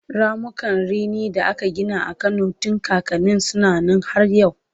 ramukan rini da aka Gina a Kano tun kakanni suna Nan har yau